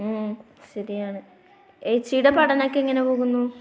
ഉം ശരിയാണ്. ഏച്ചിയുടെ പഠനമൊക്കെ എങ്ങനെ പോകുന്നു?